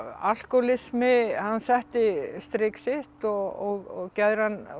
alkóhólismi hann setti strik sitt og geðræn